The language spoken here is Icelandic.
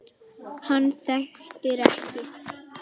Hann þekkir ekki